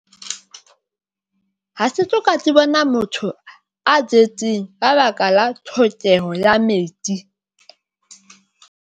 Ha se soka ke bona motho a jetseng ka baka la tlhokeho ya metsi.